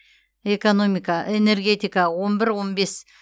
экономика энергетика он бір он бес